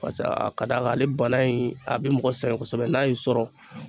Paseke a ka d'a ale bana in a bɛ mɔgɔ sɛgɛn kosɛbɛ n'a y'i sɔrɔ.